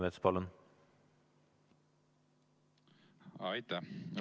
Aitäh!